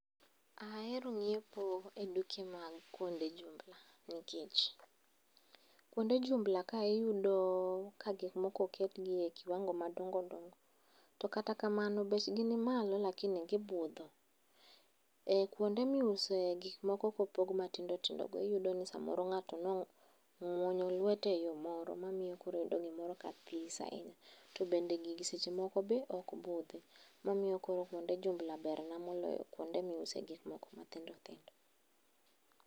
Aero ng'iepo e duke mag kuonde jumbla nikech. Kuonde jumbla ka iyudo ka gikmoko oketgiye kiwango madongodongo, to kata kamano bechgi nimalo lakini gibudho. E kuonde miuse gik moko kopog matindo tindogo iyudo ni samoro ng'ato nong'wonyo lwete e yo moro, mamiyo koro iyudo gimoro ka this ahinya. To bende gigi seche moko be ok budhi mamiyo kuonde jumbla bernna moloyo kuonde miuse gikmoko mathindothindo.